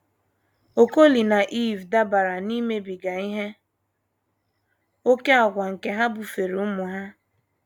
Okolie na Iv dabara n’imebiga ihe ókè àgwà nke ha bufeere ụmụ ha.